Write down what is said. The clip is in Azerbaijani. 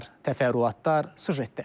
Təfərrüatlar süjetdə.